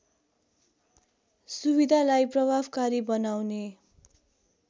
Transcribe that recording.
सुविधालाई प्रभावकारी बनाउने